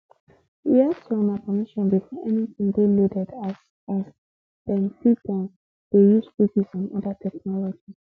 we ask for una permission before anytin dey loaded as as dem fit um dey use cookies and oda technologies